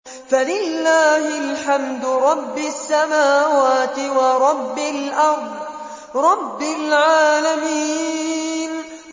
فَلِلَّهِ الْحَمْدُ رَبِّ السَّمَاوَاتِ وَرَبِّ الْأَرْضِ رَبِّ الْعَالَمِينَ